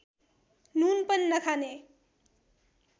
नुन पनि नखाने